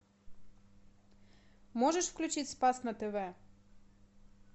можешь включить спас на тв